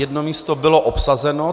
Jedno místo bylo obsazeno.